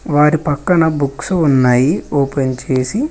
వారి పక్కన బుక్సు ఉన్నాయి ఓపెన్ చేసి.